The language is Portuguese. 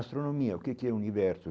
Astronomia, o que que é o universo?